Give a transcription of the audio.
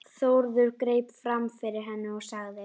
Eufemía, hvað er á áætluninni minni í dag?